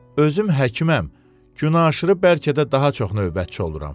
Özüm həkiməm, gün aşırı bəlkə də daha çox növbətçi oluram.